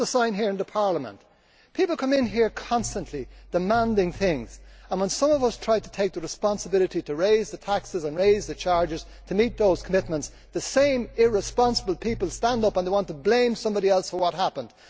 Put up a sign here in Parliament. People come in here constantly demanding things and when some of us try to take the responsibility to raise the taxes and raise the charges to meet those commitments the same irresponsible people stand up and they want to blame somebody else for what happened.